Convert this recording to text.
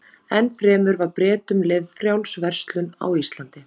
Enn fremur var Bretum leyfð frjáls verslun á Íslandi.